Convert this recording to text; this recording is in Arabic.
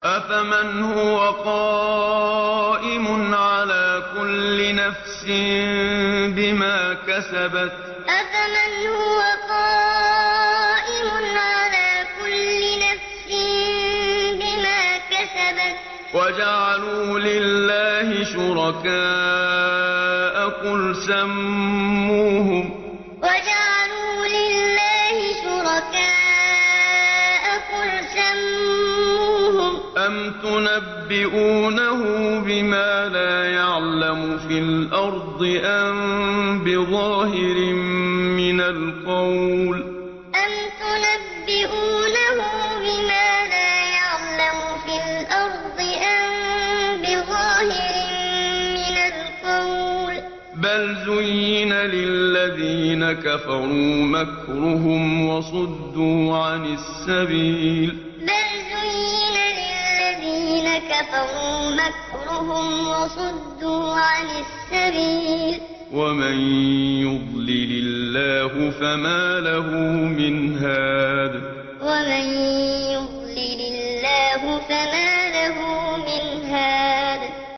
أَفَمَنْ هُوَ قَائِمٌ عَلَىٰ كُلِّ نَفْسٍ بِمَا كَسَبَتْ ۗ وَجَعَلُوا لِلَّهِ شُرَكَاءَ قُلْ سَمُّوهُمْ ۚ أَمْ تُنَبِّئُونَهُ بِمَا لَا يَعْلَمُ فِي الْأَرْضِ أَم بِظَاهِرٍ مِّنَ الْقَوْلِ ۗ بَلْ زُيِّنَ لِلَّذِينَ كَفَرُوا مَكْرُهُمْ وَصُدُّوا عَنِ السَّبِيلِ ۗ وَمَن يُضْلِلِ اللَّهُ فَمَا لَهُ مِنْ هَادٍ أَفَمَنْ هُوَ قَائِمٌ عَلَىٰ كُلِّ نَفْسٍ بِمَا كَسَبَتْ ۗ وَجَعَلُوا لِلَّهِ شُرَكَاءَ قُلْ سَمُّوهُمْ ۚ أَمْ تُنَبِّئُونَهُ بِمَا لَا يَعْلَمُ فِي الْأَرْضِ أَم بِظَاهِرٍ مِّنَ الْقَوْلِ ۗ بَلْ زُيِّنَ لِلَّذِينَ كَفَرُوا مَكْرُهُمْ وَصُدُّوا عَنِ السَّبِيلِ ۗ وَمَن يُضْلِلِ اللَّهُ فَمَا لَهُ مِنْ هَادٍ